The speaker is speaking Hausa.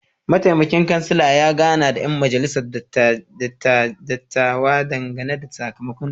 Mataimakin kansala ya gana da ‘yan majalisar dattawa dangane da sakamakon dalibai.